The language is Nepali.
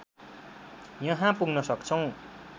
यहाँ पुग्न सक्छौं।